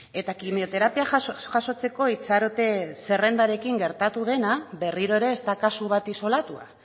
eta kimioterapia jasotzeko itxarote zerrendarekin gertatu dena berriro ere ez da kasu bat isolatua